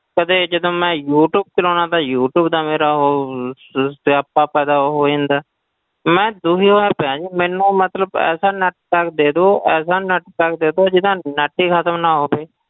ਕਦੇ ਜਦੋਂ ਮੈਂ ਯੂ ਟਿਊਬ ਚਲਾਉਨਾ ਤਾਂ ਯੂ ਟਿਊਬ ਦਾ ਮੇਰਾ ਉਹ ਸ~ ਸਿਆਪਾ ਪੈਦਾ ਹੋ ਜਾਂਦਾ ਹੈ, ਮੈਂ ਦੁਖੀ ਹੋਇਆ ਪਿਆ ਜੀ ਮੈਨੂੰ ਮਤਲਬ ਐਸਾ net pack ਦੇ ਦਓ ਐਸਾ net pack ਦੇ ਦਓ ਜਿਹਦਾ net ਹੀ ਖ਼ਤਮ ਨਾ ਹੋਵੇ,